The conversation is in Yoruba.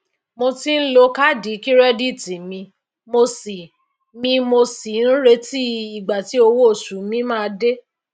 mo ti n lo kaadi kirẹditi mi mo sì mi mo sì n retí igba tí owo osu mi maa de